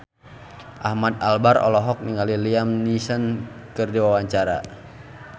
Ahmad Albar olohok ningali Liam Neeson keur diwawancara